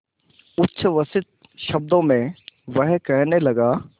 उच्छ्वसित शब्दों में वह कहने लगा